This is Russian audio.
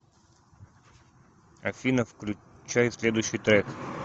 афина включай следующий трек